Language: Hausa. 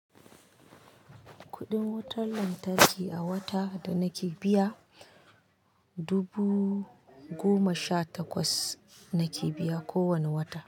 Kuɗin wutar lantarki a wata da nake biya, dubu goma sha takwas nake biya kowane wata.